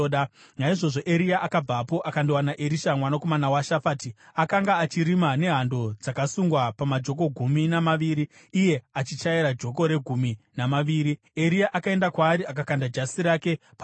Naizvozvo Eria akabvapo akandowana Erisha mwanakomana waShafati. Akanga achirima nehando dzakasungwa pamajoko gumi namaviri, iye achichaira joko regumi namaviri. Eria akaenda kwaari akakanda jasi rake paari.